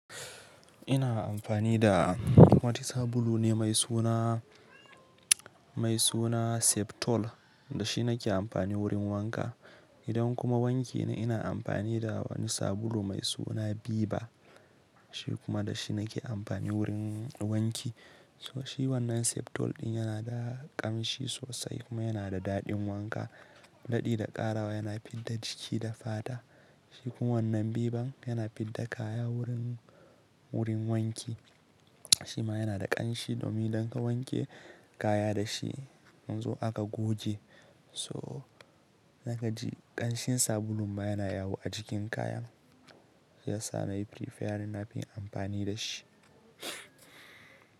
Ina amfani da wata sabulu ne mai suna, mai suna Septol da shi nake amfani wurin wanka. Idan kuma wanke ni ina amfani da wani sabulu mai suna Biba, shi kuma da shi nake amfani wurin wanki. So shi wannan Septol ɗin yana da ƙanshi sosai kuma yana da daɗin wanka, daɗi da ƙarawa, yana fidda jiki da fata. Shi kuma wannan Biban yana fidda kaya wurin, wurin wanki. Shi ma yana da ƙanshi domin idan ka wanke kaya da shi, in zo aka guje. So naga ji ƙanshin sabulun ba yana yawo a jikin kaya. Ya sa na yi fi son na fin amfani da shi.